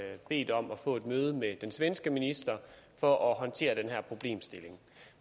bedt om at få et møde med den svenske minister for at håndtere den her problemstilling